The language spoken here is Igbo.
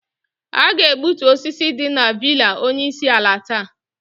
A ga-egbutu osisi dị na villa onye isi ala taa.